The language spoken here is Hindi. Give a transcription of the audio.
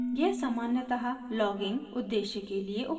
यह सामान्यतः लॉगिंग संलेखन उद्देश्य के लिए उपयोग होता है